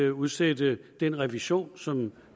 at udsætte den revision af som